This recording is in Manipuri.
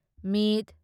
ꯃ